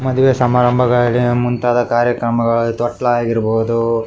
ಮದುವೆ ಸಮಾರಂಬಗಳಲ್ಲಿ ಮುಂತಾದ ಕಾರ್ಯಕ್ರಮಗಳಲ್ಲಿ ತೊಟ್ಟಿಲು‌ ಆಗಿರಬಹುದು --